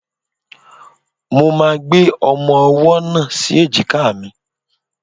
Mo máa gbé ọmọ-ọwọ́ náà sí èjìká mi